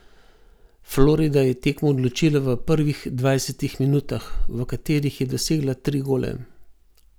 Florida je tekmo odločila v prvih dvajsetih minutah, v katerih je dosegla tri gole.